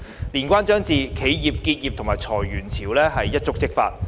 年關將至，企業結業及裁員潮可能一觸即發。